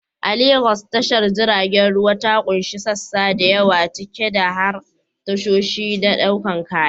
A Legas, tashar jiragen ruwa ta ƙunshi sassa da yawa, ciki har da tashoshi na ɗaukar kaya.